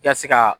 I ka se ka